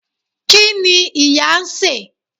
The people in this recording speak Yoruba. kini ìyá n se